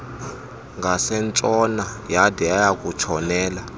ngasentshona yade yayakutshonela